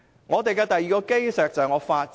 我們的第二項基石是法治。